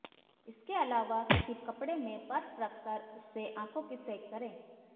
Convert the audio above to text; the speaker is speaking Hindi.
इसके अलावा किसी कपड़े में बर्फ रख कर उससे आंखों की सेंक करें